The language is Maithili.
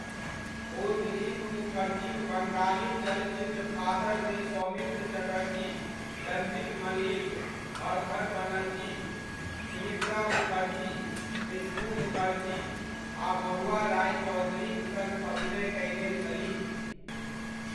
ओ दिलीप मुखर्जीक बंगाली चलचित्र फादरमे सौमित्र चटर्जी, रंजीत मल्लिक, हरधन बनर्जी, सुमित्रा मुखर्जी, मिठू मुखर्जी आ महुआ रॉयचौधरीक सङ्ग अभिनय कयने छलीह।